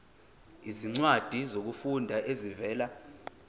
izincwadi zokufunda ezivela